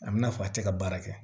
A bɛ n'a fɔ a tɛ ka baara kɛ